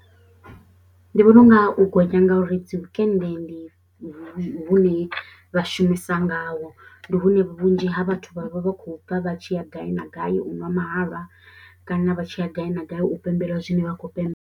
Ndi vhona u nga u gonya ngauri dzi wikende ndi hune vha shumisa ngaho, ndi hune vhunzhi ha vhathu vha vha vha khou bva vha tshi ya gai na gai u ṅwa mahalwa kana vha tshi ya gai na gai u pembela zwine vha khou pembelela.